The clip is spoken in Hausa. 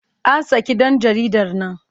An saki ɗan jaridar nan.